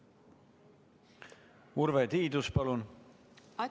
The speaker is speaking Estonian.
Urve Tiidus, palun!